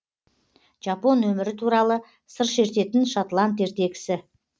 жапон өмірі туралы сыр шертетін шотланд ертегісі